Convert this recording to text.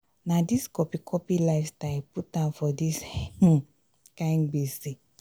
na dis copy copy lifestyle put am for dis um kind gbese.